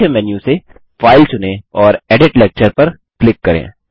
मुख्य मेन्यू से फाइल चुनें और एडिट लेक्चर पर क्लिक करें